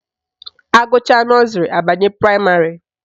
Agụchaa nọzrị abanye praịmarị